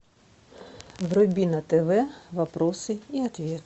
вруби на тв вопросы и ответы